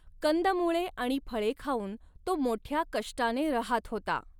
कंदमुळे आणि फळे खाऊन तो मोठ्या कष्टाने रहात होता.